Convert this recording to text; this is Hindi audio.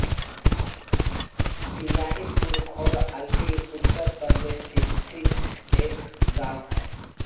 बिहारीपुर खैर अलीगढ़ उत्तर प्रदेश स्थित एक गाँव है